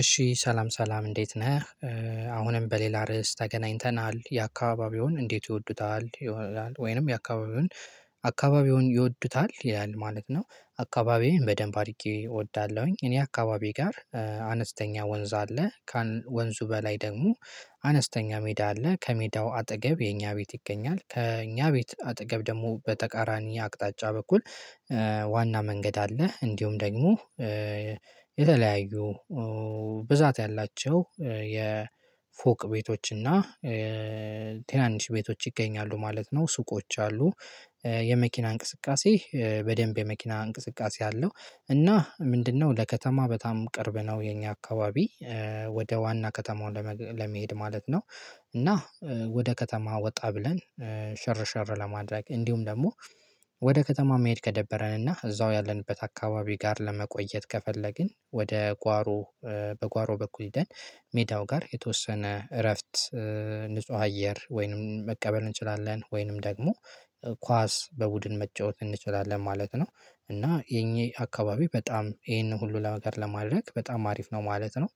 እሺ ሰላም ሰላም እንዴት ነህ። አሁንም በሌላ ርዕስ ተገናኝተናል የአካባቢውን እንዴት ይወዱታል ይሆናል ወይንም የአካባቢውን አካባቢውን ይወዱታል ይላል ማለት ነው? አካባቢዬን በደንብ አድርጌ እወዳለሁኝ እኔ አካባቢ ጋር አነስተኛ ወንዝ አለ። ወንዙ በላይ ደግሞ አነስተኛ ሜዳ አለ ከሜዳው አጠገብ የኛ ቤት ይገኛል። ከእኛ ቤት አጠገብ ደግሞ በተቃራኒ አቅጣጫ በኩል ዋና መንገድ አለ። እንዲሁም ደግሞ የተለያዩ ብዛት ያላቸው የፎቅ ቤቶችና ትናንሽ ቤቶች ይገኛሉ ማለት ነው። ሱቆች አሉ። የመኪና እንቅስቃሴ በደንብ የመኪና እንቅስቃሴ አለው። እና ምንድነው ለከተማ በጣም ቅርብ ነው። የኛ አካባቢ ወደ ዋና ከተማው ለመሄድ ማለት ነው። እና ወደ ከተማ ወጣ ብለን ሸር ሸር ለማድረግ እንዲሁም ደግሞ ወደ ከተማ መሄድ ከደበረንና እዛው ያለንበት አካባቢ ጋር ለመቆየት ከፈለግን ወደ ጓሮ በጓሮ በኩል ሄደን ሜዳው ጋር የተወሰነ እረፍት። ንጹህ አየር ወይንም መቀበል እንችላለን ወይንም ደግሞ ኳስ በቡድን መጫወት እንችላለን ማለት ነው። እና የእኚህ አካባቢ በጣም ይሄንን ሁሉ ነገር ለማድረግ በጣም አሪፍ ነው ማለት ነው።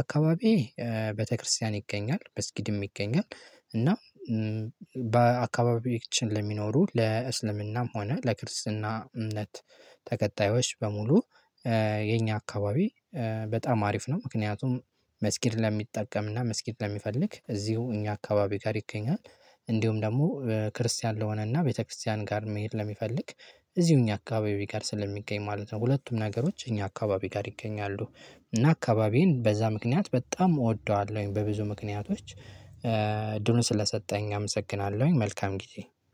አካባቢዬ ቤተክርስቲያን ይገኛል መስጊድም ይገኛል። እና በአካባቢያችን ለሚኖሩ ለእስልምናም ሆነ ለክርስትና እምነት ተከታዬችዮች በሙሉ የኛ አካባቢ በጣም አሪፍ ነው። ምክንያቱም መስጊድ ለሚጠቀምና መስጊድ ለሚፈልግ እዚሁ እኛ አካባቢ ጋር ይገኛል። እንዲሁም ደግሞ ክርስቲያን ለሆነና ቤተክርስቲያን ጋር መሄድ ለሚፈልግ እዚሁ እኛ አካባቢ ጋር ስለሚገኝ ማለት ነው። ሁለቱም ነገሮች እኛ አካባቢ ጋር ይገኛሉ። እና አካባቢዬን በዛ ምክንያት በጣም እወደዋለሁኝ በብዙ ምክንያቶች እድሉን ስለሰጠኸኝ አመሰግናለሁኝ። መልካም ጊዜ